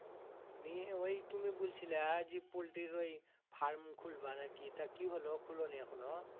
নিয়ে ওই তুমি বুলছিলা জি পোল্টির ওই farm খুলবা নাকি তা কি হলো খুলোনি এখনো